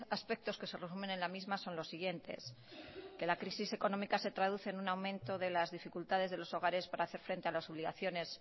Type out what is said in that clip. aspectos que se resumen en la misma son los siguientes que la crisis económica se traduce en un aumento de las dificultades de los hogares para hacer frente a las obligaciones